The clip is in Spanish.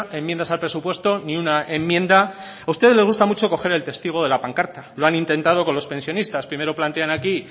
enmiendas al presupuesto ni una enmienda a ustedes les gusta mucho coger el testigo de la pancarta lo han intentado con los pensionistas primero plantean aquí